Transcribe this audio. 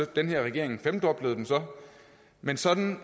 den her regering femdoblede den så men sådan